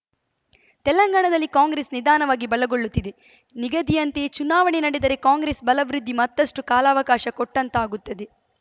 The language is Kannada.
ತೆಲಂಗಾಣದಲ್ಲಿ ಕಾಂಗ್ರೆಸ್‌ ನಿಧಾನವಾಗಿ ಬಲಗೊಳ್ಳುತ್ತಿದೆ ನಿಗದಿಯಂತೆಯೇ ಚುನಾವಣೆ ನಡೆದರೆ ಕಾಂಗ್ರೆಸ್‌ ಬಲವೃದ್ಧಿಗೆ ಮತ್ತಷ್ಟುಕಾಲಾವಕಾಶ ಕೊಟ್ಟಂತಾಗುತ್ತದೆ